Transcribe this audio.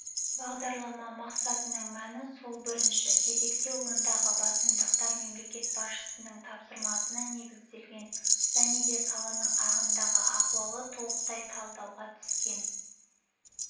бағдарлама мақсатының мәні сол бірінші кезекте ондағы басымдықтар мемлекет басшысының тапсырмасына негізделген және де саланың ағымдағы ахуалы толықтай талдауға түскен